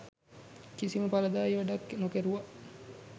කිසිම පලදායී වැඩක් නොකැරුව